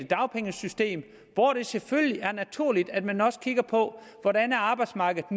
dagpengesystem hvor det selvfølgelig er naturligt at man også kigger på hvordan arbejdsmarkedet